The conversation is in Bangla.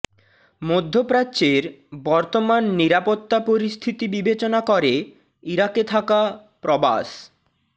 মধ্যপ্রাচ্যের বর্তমান নিরাপত্তা পরিস্থিতি বিবেচনা করে ইরাকে থাকা প্রবাস